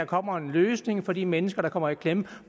kommer en løsning for de mennesker der kommer i klemme